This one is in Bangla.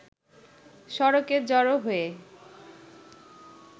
সড়কে জড়ো হয়ে